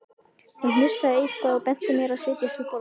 Hún hnussaði eitthvað og benti mér að setjast við borðið.